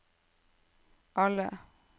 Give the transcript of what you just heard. alle